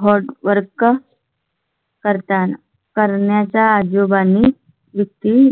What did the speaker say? HOT WORK करता करण्याचा आजोबांनी व्यक्ती.